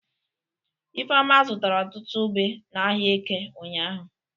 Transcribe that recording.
Ifeoma zụtara ọtụtụ ube n'ahịa Eke ụnyahụ.